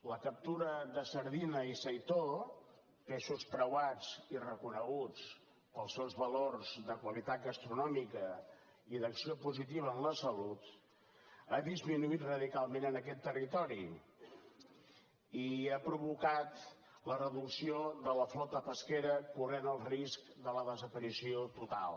la captura de sardina i seitó peixos preuats i reconeguts pels seus valors de qualitat gastronòmica i d’acció positiva en la salut ha disminuït radicalment en aquest territori i ha provocat la reducció de la flota pesquera que corre el risc de la desaparició total